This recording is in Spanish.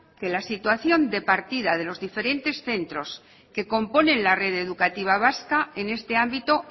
que la situación de partida de los diferentes centros que componen la red educativa vasca en este ámbito